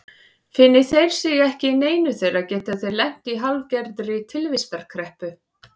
Finni þeir sig ekki í neinu þeirra geta þeir lent í hálfgerðri tilvistarkreppu.